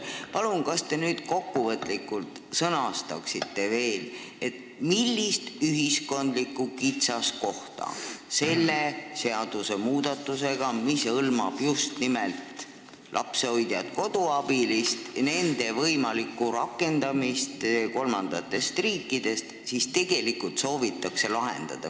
Kas te palun sõnastaksite kokkuvõtlikult veel, millist ühiskondlikku kitsaskohta soovitakse tegelikult lahendada selle seadusmuudatusega, mis hõlmab just nimelt kolmandatest riikidest pärit lapsehoidjate-koduabiliste võimalikku rakendamist?